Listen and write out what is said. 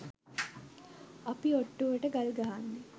අපි ඔට්ටුවට ගල් ගහන්නෙ